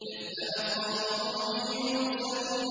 كَذَّبَتْ قَوْمُ نُوحٍ الْمُرْسَلِينَ